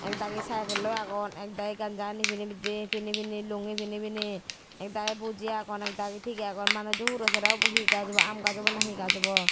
ek dagi cycle oi agon ek dagi gamsahani pini pini lungi pini pini ek dagi boji agon ek dagi they agon manujo huro sere he gaj obo aam gaj obo na he gaj obo.